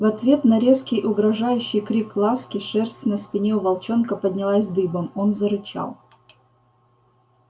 в ответ на резкий угрожающий крик ласки шерсть на спине у волчонка поднялась дыбом он зарычал